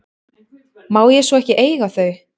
Má ég svo ekki eiga þau?